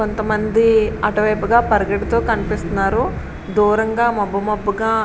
కొంతమంది అటువైపు గా పరిగెడుతూ కనిపిస్తున్నారు. దూరంగా మబ్బు మబ్బు గా --